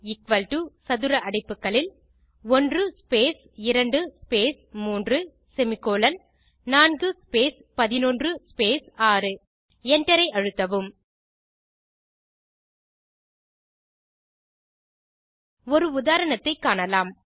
ப் சதுர அடைப்புகளில் 1 space 2 space 3 semicolon 4 space 11 space 6 Enter ஐ அழுத்தவும் ஒரு உதாரணத்தை காணலாம்